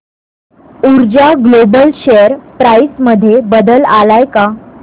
ऊर्जा global share price मध्ये बदल आलाय का